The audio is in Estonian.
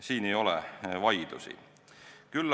Siin ei ole midagi vaielda.